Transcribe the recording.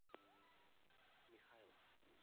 михайлов